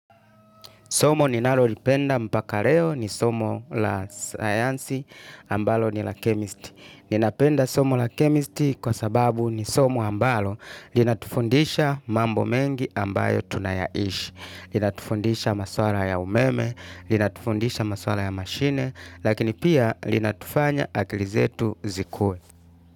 Somo ninalolipenda mpaka leo ni somo la sayansi ambalo ni la chemistry. Ninapenda somo la chemistry kwa sababu ni somo ambalo linatufundisha mambo mengi ambayo tunayaishi. Linatufundisha maswala ya umeme, linatufundisha maswala ya mashine, lakini pia linatufanya akili zetu zikue.